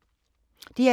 DR2